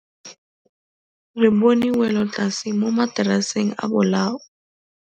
Re bone wêlôtlasê mo mataraseng a bolaô.